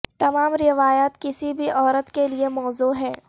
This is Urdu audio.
تمام روایات کسی بھی عورت کے لئے موزوں ہیں